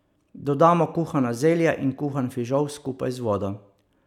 Dodamo kuhano zelje in kuhan fižol skupaj z vodo.